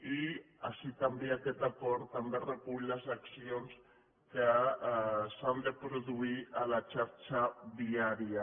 i així també aquest acord també recull les accions que s’han de produir a la xarxa viària